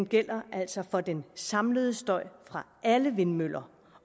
gælder altså for den samlede støj fra alle vindmøller